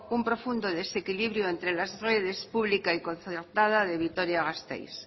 un profundo desequilibrio entre las redes pública y concertada de vitoria gasteiz